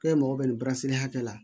K'e mago bɛ nin hakɛ la